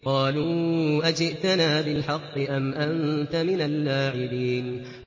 قَالُوا أَجِئْتَنَا بِالْحَقِّ أَمْ أَنتَ مِنَ اللَّاعِبِينَ